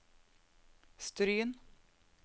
Stryn